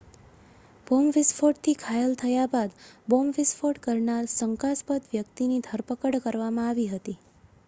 bomb વિસ્ફોટથી ઘાયલ થયા બાદ બોમ્બ વિસ્ફોટ કરનાર શંકાસ્પદ વ્યક્તિની ધરપકડ કરવામાં આવી હતી